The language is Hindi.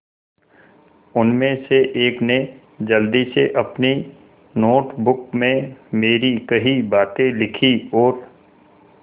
उनमें से एक ने जल्दी से अपनी नोट बुक में मेरी कही बातें लिखीं और